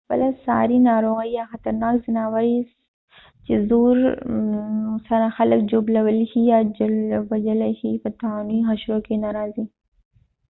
پخپله ساري ناروغۍ یا خطرناک ځناور چې زور سره خلک ژوبلولای یا وژلای شي په طاعوني حشرو کې نه راځي